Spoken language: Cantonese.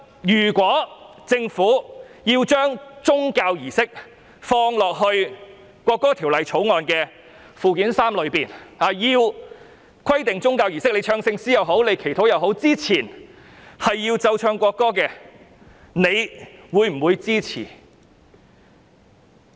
如果政府把宗教儀式的場合納入《條例草案》附表 3， 規定唱聖詩或祈禱前必須奏唱國歌，他們會否支持？